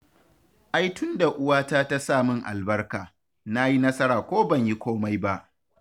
Ai tunda uwata ta sa min albarka, na yi nasara ko ban yi komai ba